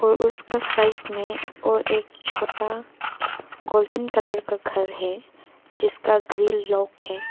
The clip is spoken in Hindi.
और उसका साइत में और एक छोटा गोल्डन कलर का घर है जिसका ग्रिल लॉक है।